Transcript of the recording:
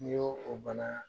N'i y'o o bana